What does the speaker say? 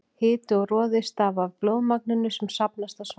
Hiti og roði stafa af blóðmagninu sem safnast á svæðið.